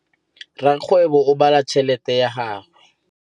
Rakgwêbô o bala tšheletê ya gagwe.